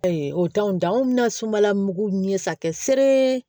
o t'anw dan anw bɛna sumala mugu ɲɛsa kɛ sere